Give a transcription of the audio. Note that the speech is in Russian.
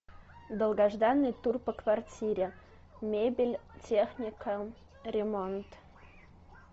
долгожданный тур по квартире мебель техника ремонт